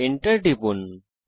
Enter টিপুন